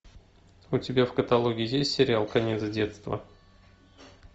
у тебя в каталоге есть сериал конец детства